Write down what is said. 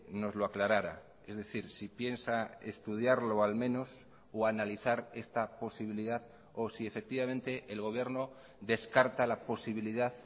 nos lo aclarara es decir si piensa estudiarlo o al menos o analizar esta posibilidad o si efectivamente el gobierno descarta la posibilidad